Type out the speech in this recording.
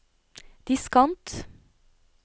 diskant